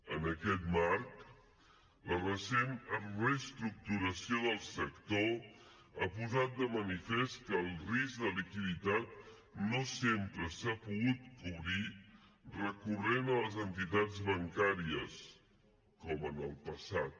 en aquest marc la recent reestructuració del sector ha posat de manifest que el risc de liquiditat no sempre s’ha pogut cobrir recorrent a les entitats bancàries com en el passat